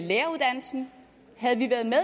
læreruddannelsen havde vi været med